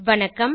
வணக்கம்